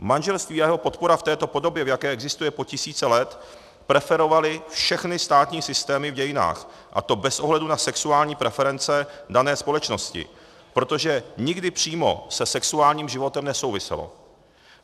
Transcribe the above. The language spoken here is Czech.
Manželství a jeho podpora v této podobě, v jaké existuje po tisíce let, preferovaly všechny státní systémy v dějinách, a to bez ohledu na sexuální preference dané společnosti, protože nikdy přímo se sexuálním životem nesouviselo.